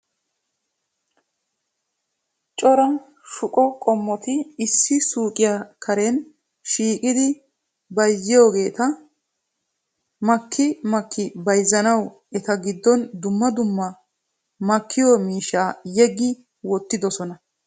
Cora shuqqo qommoti issi suuqqiya karen shiishshidi bayzziyoogeta makki makki bayzzanaw eta giddon dumma dumma makkiyo miishsha yeggi wottidoosona. .